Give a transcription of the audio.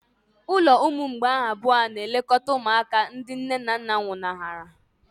Ụlọ ụmụ mgbei abụọ na-elekọta ụmụaka ndị nne na nna nwụnahụrụ.